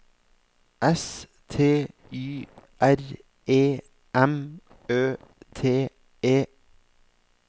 S T Y R E M Ø T E